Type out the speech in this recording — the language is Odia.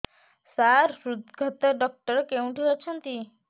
ସାର ହୃଦଘାତ ଡକ୍ଟର କେଉଁଠି ଅଛନ୍ତି